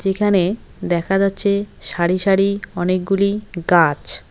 যেখানে দেখা যাচ্ছে সারি সারি অনেকগুলি গাছ।